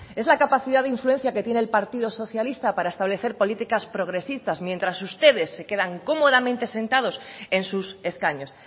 es la capacidad de influencia que tiene el partido socialista para establecer políticas progresistas mientras ustedes se quedan cómodamente sentados en sus escaños